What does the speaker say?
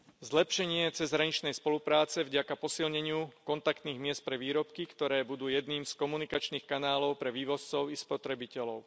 zlepšenie cezhraničnej spolupráce vďaka posilneniu kontaktných miest pre výrobky, ktoré budú jedným z komunikačných kanálov pre vývozcov i spotrebiteľov.